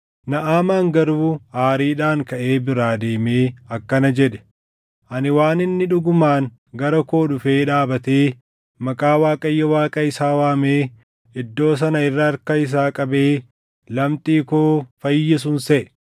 Naʼamaan garuu aariidhaan kaʼee biraa deemee akkana jedhe; “Ani waan inni dhugumaan gara koo dhufee dhaabatee maqaa Waaqayyo Waaqa isaa waamee iddoo sana irra harka isaa qabee lamxii koo fayyisun seʼe.